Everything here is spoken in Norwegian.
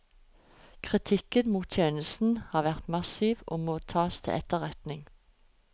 Kritikken mot tjenesten har vært massiv og må tas til etterretning.